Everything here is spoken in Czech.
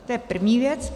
To je první věc.